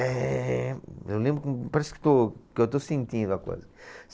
Bemmmm. Eu lembro como, parece que estou, que eu já estou sentindo a coisa.